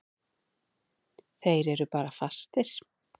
Þeir eru bara fastir.